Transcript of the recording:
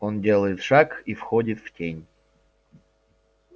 он делает шаг и входит в тень